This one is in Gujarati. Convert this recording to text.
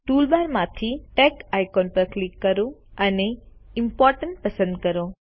ટૂલબારમાંથી ટેગ આઇકોન પર ક્લિક કરો અને ઇમ્પોર્ટન્ટ પસંદ કરો